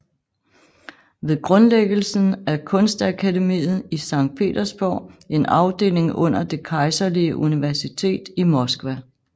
Ved grundlæggelsen af kunstakademiet i Sankt Petersborg en afdeling under Det Kejserlige Universitet i Moskva